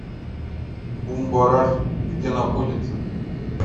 бумбараш где находится